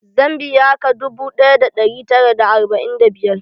Zan biya ka dubu ɗaya da ɗari tara da arba'in da biyar